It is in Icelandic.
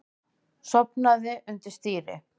Sofnaði undir stýri